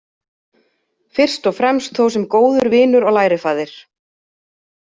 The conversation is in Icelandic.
Fyrst og fremst þó sem góður vinur og lærifaðir.